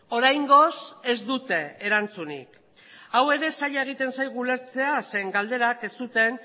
oraingoz ez dute erantzunik hau ere zaila egiten zaigu ulertzera zen galderak ez zuten